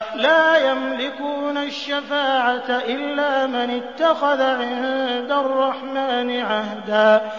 لَّا يَمْلِكُونَ الشَّفَاعَةَ إِلَّا مَنِ اتَّخَذَ عِندَ الرَّحْمَٰنِ عَهْدًا